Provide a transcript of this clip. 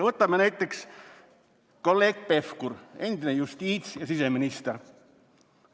Võtame näiteks kolleeg Pevkuri, kes on endine justiits- ja siseminister.